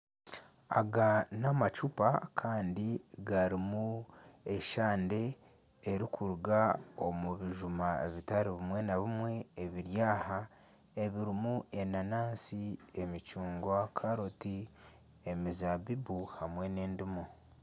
Aga n'amacuupa kandi garimu eshande erikuruga omu bijuma bitari bimwe na bimwe ebiri aha ebirimu enanansi, emicungwa, karoti, emizaabibu hamwe n'ediimu.